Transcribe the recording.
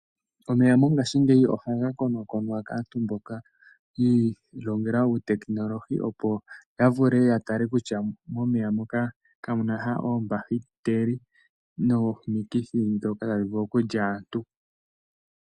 Omeya mongashingeyi ohaga konakonwa kaantu mboka yi ilongela uutekinolohi, opo ya vule ya tale kutya momeya moka kamu na sha oombahiteli nomikithi ndhoka tadhi vulu okulya aantu.